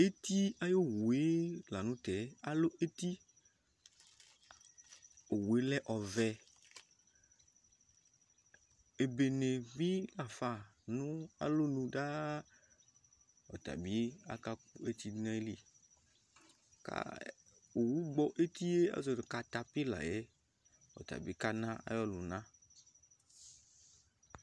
eti ayi owue lantɛ alò eti owue lɛ ɔvɛ ebene bi lafa n'alɔnu daa ɔtabi aka kò eti do n'ayili owu gbɔ etie azɔ nò katapila yɛ ɔtabi kana ayi ɔlòna